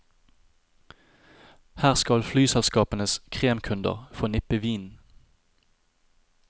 Her skal flyselskapenes kremkunder få nippe vin.